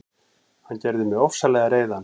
Hann gerði mig ofsalega reiðan.